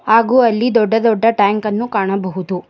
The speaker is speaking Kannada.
ಹಾಗೂ ಅಲ್ಲಿ ದೊಡ್ಡ ದೊಡ್ಡ ಟ್ಯಾಂಕ್ ಅನ್ನು ಕಾಣಬಹುದು.